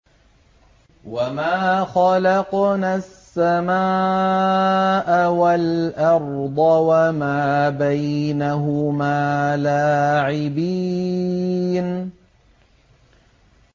وَمَا خَلَقْنَا السَّمَاءَ وَالْأَرْضَ وَمَا بَيْنَهُمَا لَاعِبِينَ